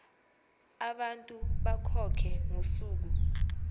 abantu bakhokhe ngosuku